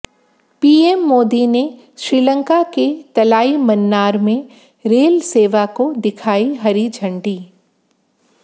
PM Modi ने श्रीलंका के तलाईमन्नार में रेल सेवा को दिखाई हरी झंडी